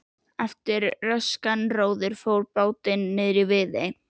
Eftir röskan róður tók bátinn niðri í Viðey.